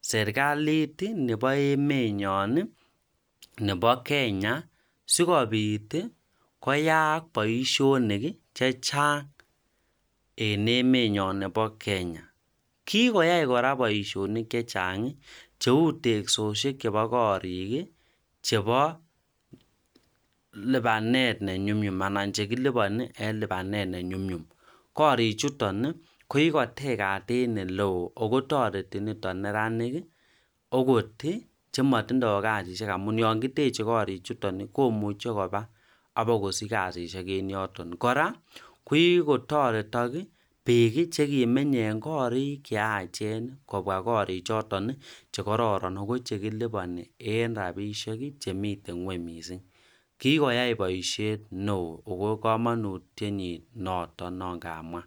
serkaliit nebo emenyon nebo Kenya sikobiit koyaak boisionik chechang' in emet nyon nebo Kenya. kikoyai kora boisionik chechang' cheu teksosiek chebo korik chebo lipanet nenyumnyum anan chekilipani en lipanet nenyumnyum. korichuton koikatekaten neloo akotoreti neranik akot chematindoi kasisiek amun ya ngiteche korichuton komuche koba abakosich kasisiek en yoton. kora kokikotoretok bik chekimenye ing'korik cheyachen kobwa korichoton chekororon akoichekilipani en rabisiek chemite ng'wuny miising'.kikoyai boisiet neo ako komonutiet nyi nooton kamwa